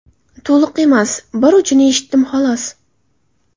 To‘liq emas, bir uchini eshitdim, xolos.